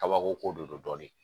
Kabako de do dɔɔni